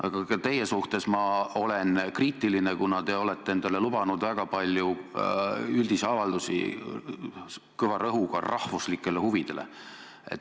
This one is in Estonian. Aga ka teie suhtes ma olen kriitiline, kuna te olete endale lubanud väga palju üldisi avaldusi kõva rõhuga rahvuslikel huvidel.